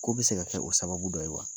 K'o bi se ka kɛ o sababu dɔ ye wa ?